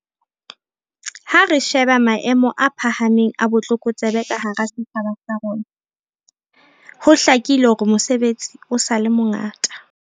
Ha re sheba maemo a phahameng a botlokotsebe ka hara setjhaba sa bo rona, ho hlakile hore mosebetsi o sa le mongata.